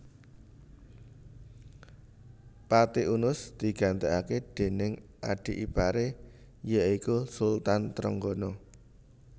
Pati Unus digantiake déning adi ipare ya iku Sultan Trenggana